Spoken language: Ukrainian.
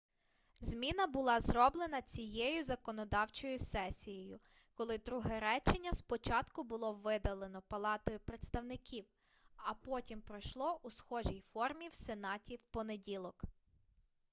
зміна була зроблена цією законодавчою сесією коли друге речення спочатку було видалено палатою представників а потім пройшло у схожій формі в сенаті в понеділок